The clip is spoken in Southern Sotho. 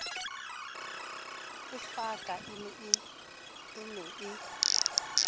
e hafaka e ne e